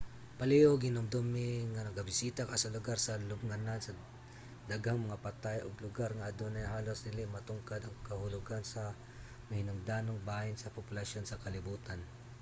palihug hinumdumi nga nagabisita ka sa lugar sa lubnganan sa daghang mga patay ug lugar nga adunay halos dili matugkad ang kahulogan sa mahinungdanong bahin sa populasyon sa kalibutan